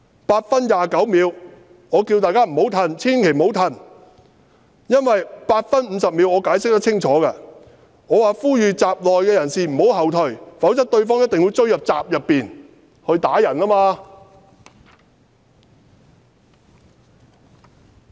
8分29秒：我叫大家不要後退，千萬不要後退，我在8分50秒有清楚解釋的，我呼籲閘內人士不要後退，否則對方一定會追入閘內打人。